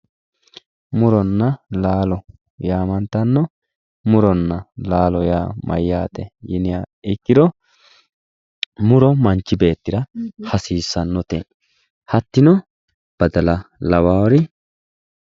muronna laalo yaamantanno muronna laalo yaa mayyate yiniha ikkiro muro manchi beettira hasiissannote yaate badala lawawori